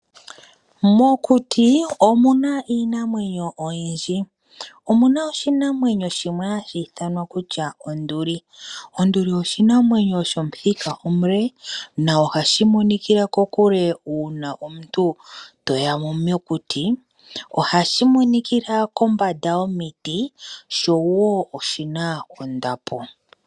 Mokuti omuna iinamwenyo oyindji omuna oshinamwenyo shimwe hashithwa kutya Onduli , Onduli oshinamwenyo shomuthika omule noha shimonikala kokule uuna omuntu toya mo mokuti oha shimonikila kombanda yomiti showo oshina ondapo.